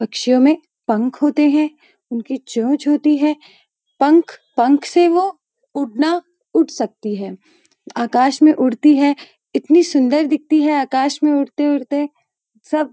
पक्षियों में पंख होते हैं उनकी चोंच होती है पंख पंख से वो उड़ना उड़ सकती हैं आकाश में उड़ती है इतनी सुंदर दिखती है आकाश में उड़ते उड़ते सब --